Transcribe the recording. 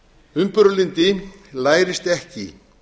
umburðarlyndi lærist ekki